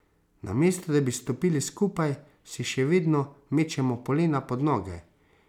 Namesto, da bi stopili skupaj, si še vedno mečemo polena pod noge.